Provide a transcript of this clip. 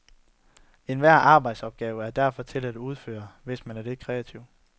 Enhver arbejdsopgave er derfor til at udføre hvis man er lidt kreativ.